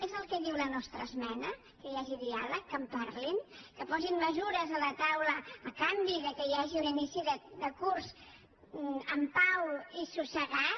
és el que diu la nostra esmena que hi hagi diàleg que en parlin que posin mesures a la taula a canvi que hi hagi un inici de curs amb pau i assossegat